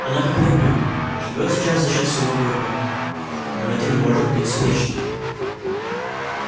она как верблюд живёт сейчас за счёт своего горба но это не может длиться вечно